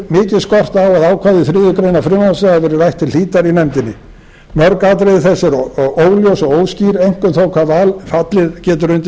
skorta á að ákvæði þriðju greinar frumvarpsins hafi verið rætt til hlítar í nefndinni mörg atriði þess eru óljós og óskýr einkum þó hvað fallið getur undir